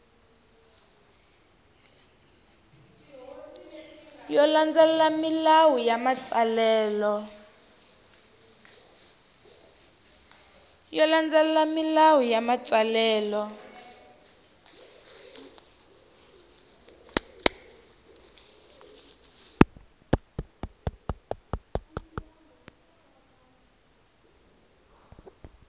yo landzelela milawu ya matsalelo